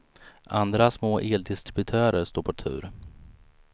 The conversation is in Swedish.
Andra små eldistributörer står på tur.